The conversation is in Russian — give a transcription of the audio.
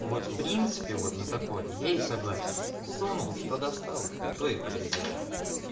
вот в принципе вот на такое я и согласен засунул что достал то и подойдёт